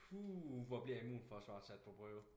Puh hvor bliver immunforsvaret sat på prøve